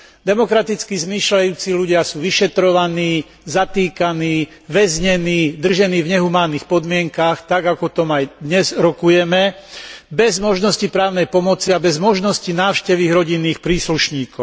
Demokraticky zmýšľajúci ľudia sú vyšetrovaní, zatýkaní, väznení, držaní v nehumánnych podmienkach tak, ako o tom aj dnes rokujeme, bez možnosti právnej pomoci a bez možnosti návštevy ich rodinných príslušníkov.